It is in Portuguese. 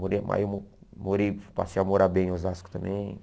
Morei, ah eu mo morei passei a morar bem em Osasco também.